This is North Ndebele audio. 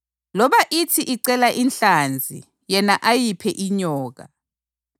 Loba ithi icela inhlanzi yena ayiphe inyoka?